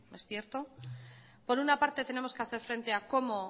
es cierto por una parte tenemos que hacer frente a cómo